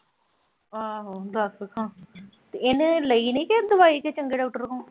ਆਹੋ ਦੱਸ ਖਾਂ ਤੇ ਇਹਨੇ ਲਈ ਨੀਂ ਦਵਾਈ ਕਿਸੇ ਚੰਗੇ ਡਾਕਟਰ ਤੋਂ।